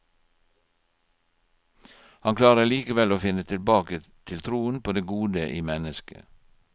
Han klarer likevel å finne tilbake til troen på det gode i mennesket.